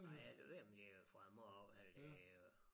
Nej jeg ved ikke om det fra æ morgen eller det